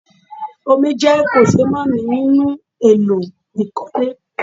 Omi jẹ́ kòṣeémánìí nínú èlò ìkọ́lé